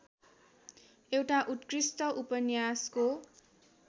एउटा उत्कृष्ट उपन्यासको